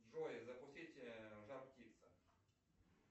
джой запустить жар птица